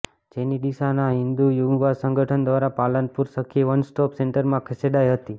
જેને ડીસાના હિંદુ યુવા સંગઠન દ્વારા પાલનપુર સખી વન સ્ટોપ સેન્ટરમાં ખસેડાઇ હતી